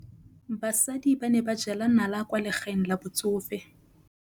Basadi ba ne ba jela nala kwaa legaeng la batsofe.